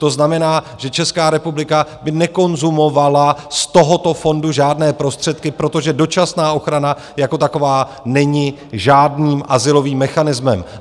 To znamená, že Česká republika by nekonzumovala z tohoto fondu žádné prostředky, protože dočasná ochrana jako taková není žádným azylovým mechanismem.